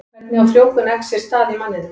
Hvernig á frjóvgun eggs sér stað í manninum?